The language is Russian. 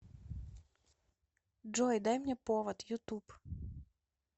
джой дай мне повод ютуб